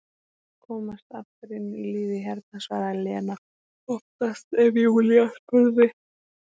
Var að komast aftur inn í lífið hérna, svaraði Lena oftast ef Júlía spurði.